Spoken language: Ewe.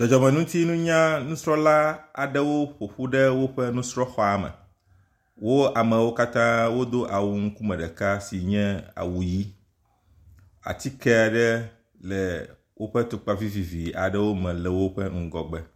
Dzɔdzɔmeŋutinunya nusrɔ̃la aɖewo ƒoƒu ɖe woƒe nusrɔ̃ xɔa me. Wo amewo katã wodo awu ŋkume ɖeka si nye awu ʋi. Atike ɖe le woƒe atukpa vivivi aɖewo me le woƒe ŋgɔgbe